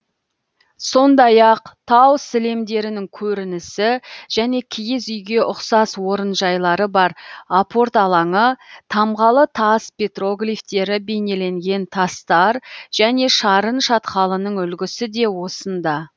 сондай ақ тау сілемдерінің көрінісі және киіз үйге ұқсас орынжайлары бар апорт алаңы тамғалы тас петроглифтері бейнеленген тастар және шарын шатқалының үлгісі де осында